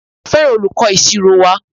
A fẹràn olùkọ ìṣirò wa.